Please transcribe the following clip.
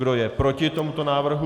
Kdo je proti tomuto návrhu?